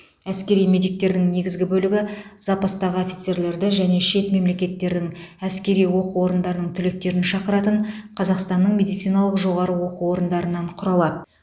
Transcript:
әскери медиктердің негізгі бөлігі запастағы офицерлерді және шет мемлекеттердің әскери оқу орындарының түлектерін шақыратын қазақстанның медициналық жоғары оқу орындарынан құралады